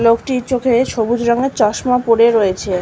লোকটি চোখে সবুজ রঙের চশমা পড়ে রয়েছে।